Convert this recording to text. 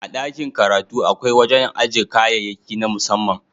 A dakin karatu akwai wajen aje kayayyaki na musamman.